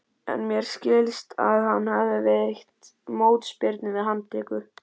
En mér skilst að hann hafi veitt mótspyrnu við handtöku.